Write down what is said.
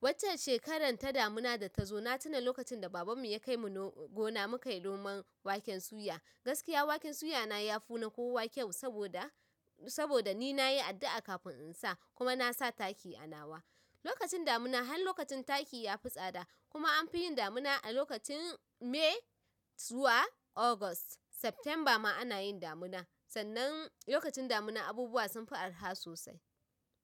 Waccan shekarar ta damuna da ta zo, na tuna lokacin da baban mu ya kai mu no-gona, mu kai noman waken suya. Gaskiya waken suya na yafi na kowa kyau saboda, saboda ni nayi addu'a kafin in sa kuma na sa taki a nawa. Lokacin damuna har lokacin taki tafi tsada. Kuma an fi yin damuna a lokacin May zuwa August September ma ana yin damuna sannan lokacin damuna abubuwa sunfi arha sosai.